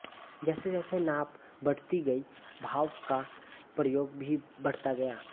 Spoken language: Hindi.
जैसे जैसे नाप बढ़ती गई भाप का प्रयोग भी बढ़ता गया